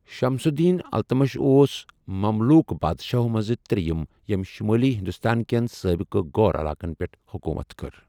شَمس الدیٖن اِلتُتمِش اوس مملوٗک بادشاہَو منٛزٕ ترٛیٚیِم ییٚمِہِ شُمٲلی ہِنٛدُستان کیٚن سٲبقہٕ غور علاقن پیٚٹھ حُکوٗمت کٔر۔